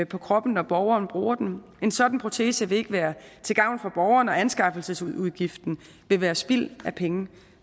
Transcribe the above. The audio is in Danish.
på kroppen når borgeren bruger den en sådan protese vil ikke være til gavn for borgeren og anskaffelsesudgiften vil være spild af penge